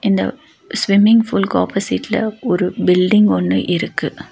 இந்த ஸ்விம்மிங் பூல்லுக்கு ஆப்போசிட்ல ஒரு பில்டிங் ஒன்னு இருக்கு.